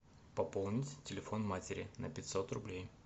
пополнить телефон матери на пятьсот рублей